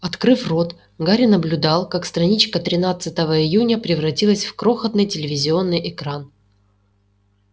открыв рот гарри наблюдал как страничка тринадцатого июня превратилась в крохотный телевизионный экран